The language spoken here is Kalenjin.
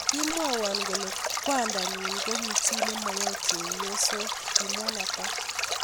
kimwoiwo kole kwandanyi koki chi nemachei chepyosok kimwa Nathan